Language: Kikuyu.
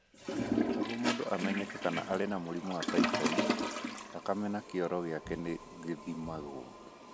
Nĩguo mũndũ amenyeke kana arĩ na mũrimũ wa typhoid, thakame na kĩoro gĩake nĩ gĩthimagwo.